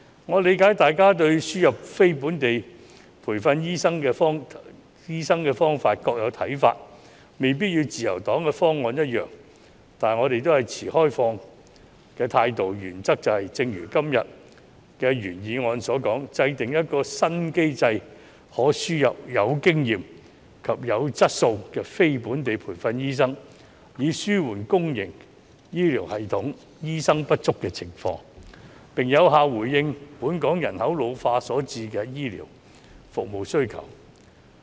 我理解大家對輸入非本地培訓醫生的方法各有看法，未必與自由黨的方案一樣，但我們也是持開放的態度，原則就是正如今天的原議案所述，制訂一個新機制，可輸入有經驗及質素的非本地培訓醫生，以紓緩公營醫療系統醫生不足的情況，並有效回應本港人口老化所產生的醫療服務需求。